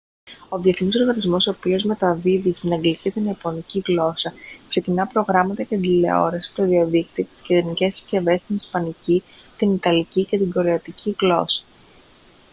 ο διεθνής οργανισμός ο οποίος ήδη μεταδίδει στην αγγλική και την ιαπωνική γλώσσα ξεκινά προγράμματα για την τηλεόραση το διαδίκτυο και τις κινητές συσκευές στην ισπανική την ιταλική και την κορεάτικη γλώσσα